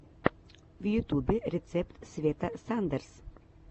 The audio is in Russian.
в ютубе рецепт света сандерс